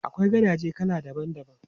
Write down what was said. Akwai gadaje kala daban daban.